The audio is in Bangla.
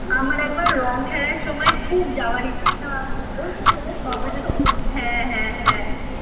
রঙ খেলার সময় খুব যাওয়ার ইচ্ছা কবে যেতে পারবো হ্যাঁ হ্যাঁ হ্যাঁ।